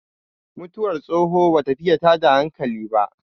mutuwar tsoho ba ta fiye tada hankali ba